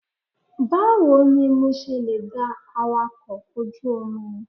Báwo ni mo ṣe lè da awakọ̀ ojú omi?